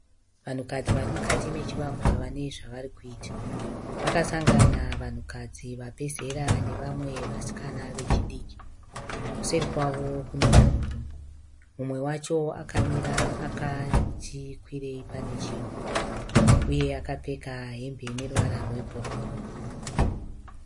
Vanhukadzi varimukati mechivakwa vane zvavari kuita. Vaka sangana vanhukadzi vabvezera nevamwe vasikana vechidiki. Kuseri kwavo kune vanhu rume. Mumwe wacho akamira akati kwirei pane chinhu. Uye akapfeka hembe ine ruvara rwe bhuruu.